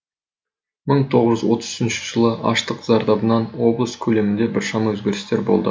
мың тоғыз жүз отыз үшінші жылы аштық зардабынан облыс көлемінде біршама өзгерістер болды